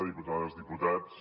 diputades diputats